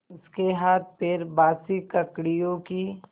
उसके हाथपैर बासी ककड़ियों की